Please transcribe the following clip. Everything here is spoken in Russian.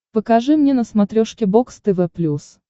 покажи мне на смотрешке бокс тв плюс